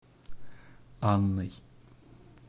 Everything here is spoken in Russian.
анной